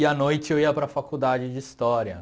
E à noite eu ia para a faculdade de História.